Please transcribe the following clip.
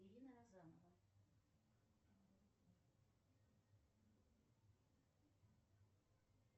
ирина розанова